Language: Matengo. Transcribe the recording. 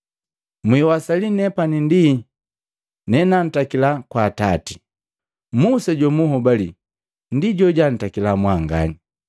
Mwiwasali nepani ndi nenantakila kwa Atati. Musa jomuhobali ndi jojuntakila mwanganya.